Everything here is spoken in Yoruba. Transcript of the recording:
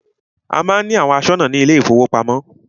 A má ń ní àwọn aṣọ́nà ní ilé ìfọwọ́pamo.